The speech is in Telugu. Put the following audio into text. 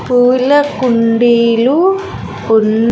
పూల కుండీలు ఉన్న--